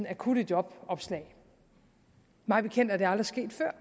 akutte jobopslag mig bekendt er det aldrig sket før